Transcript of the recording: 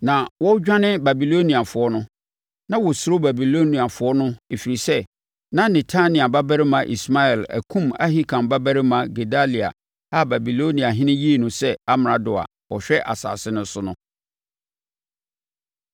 Na wɔredwane Babiloniafoɔ no. Na wɔsuro Babiloniafoɔ no ɛfiri sɛ na Netania babarima Ismael akum Ahikam babarima Gedalia a Babiloniahene yii no sɛ amrado a ɔhwɛ asase no so no.